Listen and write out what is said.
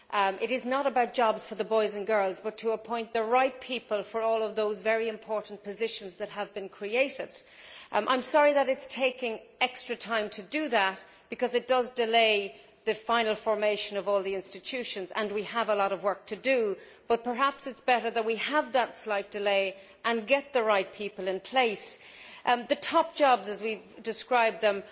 It is not about jobs for the boys and girls, but about appointing the right people for all of those very important positions that have been created. I am sorry that it is taking extra time to do that because it does delay the final formation of all the institutions and we have a lot of work to do but perhaps it is better that we have that slight delay and get the right people in place. The top jobs, as we have described them,